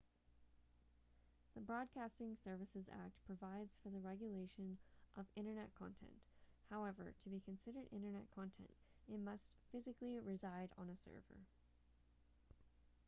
the broadcasting services act provides for the regulation of internet content however to be considered internet content it must physically reside on a server